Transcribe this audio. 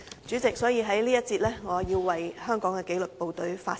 所以，我要在這個辯論環節為香港的紀律部隊發聲。